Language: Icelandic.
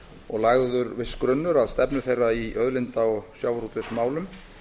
og lagður viss grunnur að stefnu þeirri í auðlinda og sjávarútvegsmálum